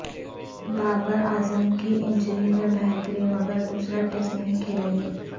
بابر اعظم کی انجری میں بہتری مگر دوسرا ٹیسٹ نہیں کھیلیں گے